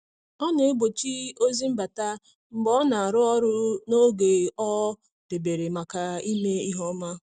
Ọ na-egbochi ozi mbata mgbe ọ na-arụ ọrụ n’oge o debere maka ime ihe ọma.